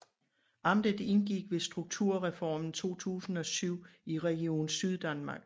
Amtet indgik ved strukturreformen 2007 i Region Syddanmark